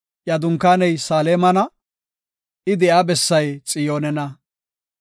Iya dunkaaney Saalemana; I de7iya bessay Xiyoonena.